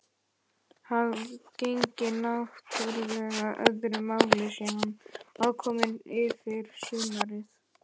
Það gegnir náttúrlega öðru máli sé hann aðkominn yfir sumarið.